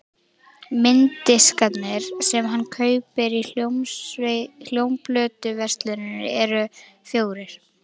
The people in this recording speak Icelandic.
Mynddiskarnir sem hann kaupir í hljómplötuversluninni eru fjórir.